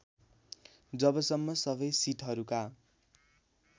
जबसम्म सबै सिटहरूका